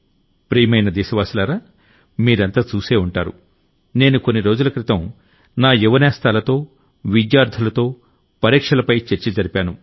ప్రియతమ దేశవాసులారా మీరంతా చసే ఉంటారు నేను కొన్ని రోజుల క్రితం నా యువనేస్తాలతో విద్యార్ధులతో పరీక్షలపై చర్చ జరిపాను